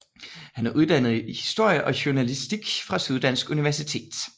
Han er uddannet i historie og journalistik fra Syddansk Universitet